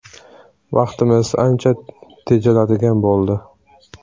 Vaqtimiz ancha tejaladigan bo‘ldi.